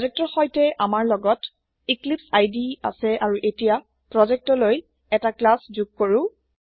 projector সৈতেআমাৰলগত এক্লিপছে ইদে আছেআৰুএতিয়া প্ৰোজেক্ট লৈএটা ক্লাচ যোগকৰো